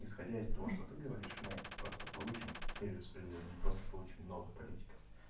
исходя из того что ты говоришь мы просто получим перераспределением просто получу много политиков